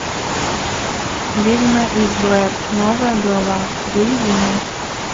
ведьма из блэр новая глава выведи мне